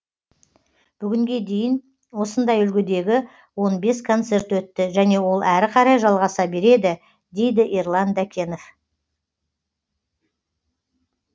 бүгінге дейін осындай үлгідегі он бес концерт өтті және ол әрі қарай жалғаса береді дейді ерлан дәкенов